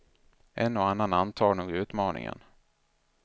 En och annan antar nog utmaningen.